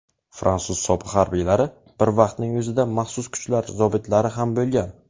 fransuz sobiq harbiylari bir vaqtning o‘zida maxsus kuchlar zobitlari ham bo‘lgan.